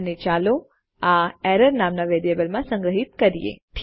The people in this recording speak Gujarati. અને ચાલો આ એરર નામના વેરિયેબલમાં સંગ્રહ કરીએ